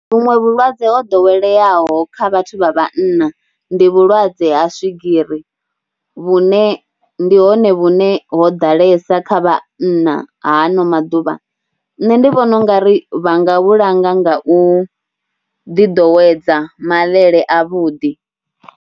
Vhuṅwe vhulwadze ho ḓoweleaho kha vhathu vha vhanna ndi vhulwadze ha swigiri vhune ndi hone vhune ho ḓalesa kha vhanna ha ano maḓuvha. Nṋe ndi vhona u nga, ḓiḓowedza mavhele avhuḓi.